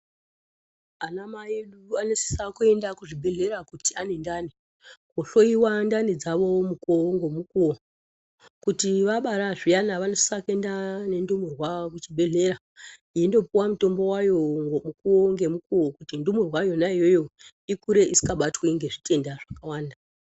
Ana mai edu anosisa kuenda kuzvibhedhlera kuti ane ndani. Koohloiwa ndani dzawo mukuwo ngemukuwo. Kuti vabara zviyani vanosisa kuenda nendumurwa kuchibhedhlera. Yeindoo puwa mutombo wayo mukuwo ngemukuwo kuti ndumurwa iyoyo isabatwe ngezvitenda zvakawanda.